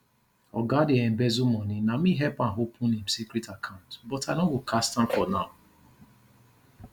oga dey embezzle money na me help am open im secret account but i no go cast am for now